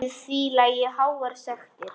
Við því lægju háar sektir.